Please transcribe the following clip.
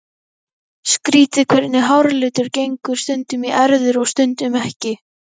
Skrýtið hvernig háralitur gengur stundum í erfðir og stundum ekki.